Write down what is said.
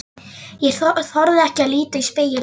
Ég þorði ekki að líta í spegilinn.